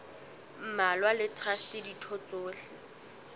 mmalwa le traste ditho tsohle